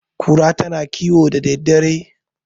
kura tana kiwo da daddare